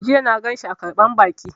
Jiya na ganshi a ƙarɓar baƙi